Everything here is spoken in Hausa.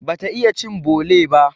Bata iya cin bole ba.